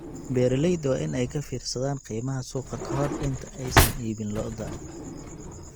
Beeralayda waa in ay ka fiirsadaan qiimaha suuqa ka hor inta aysan iibin lo'da.